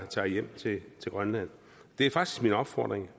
tager hjem til grønland min opfordring